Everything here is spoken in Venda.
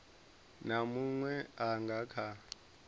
na munwe a nga kha